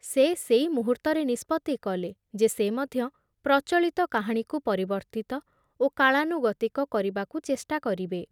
ସେ ସେଇ ମୁହୂର୍ତ୍ତରେ ନିଷ୍ପତ୍ତି କଲେ ଯେ ସେ ମଧ୍ୟ ପ୍ରଚଳିତ କାହାଣୀକୁ ପରିବର୍ତ୍ତିତ ଓ କାଳାନୁଗତିକ କରିବାକୁ ଚେଷ୍ଟା କରିବେ ।